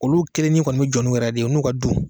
Olu kelen ɲe bɛ jɔ nun yɛrɛ ye de n'u ka du.